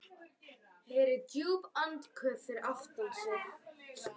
Heyrir djúp andköf fyrir aftan sig.